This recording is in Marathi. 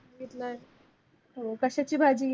हो कशाची भाजी आहे?